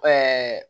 Ɛɛ